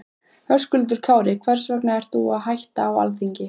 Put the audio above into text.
Höskuldur Kári: Hvers vegna ert þú að hætta á Alþingi?